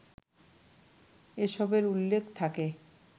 এসবের উল্লেখ থাকে